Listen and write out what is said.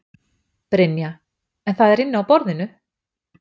Brynja: En það er inni á borðinu?